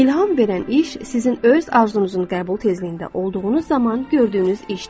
İlham verən iş sizin öz arzunuzun qəbul tezliyində olduğunuz zaman gördüyünüz işdir.